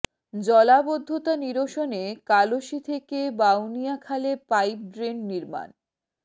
জলাবদ্ধতা নিরসনে কালশী থেকে বাউনিয়া খালে পাইপ ড্রেন নির্মাণ